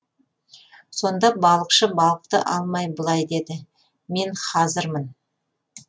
сонда балықшы балықты алмай былай дейді мен хазырмын